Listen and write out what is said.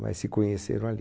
Mas se conheceram ali.